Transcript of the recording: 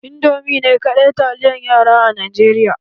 Indomie ne kaɗai taliyar yara a Najeriya?